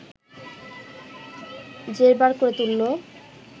জেরবার করে তুলল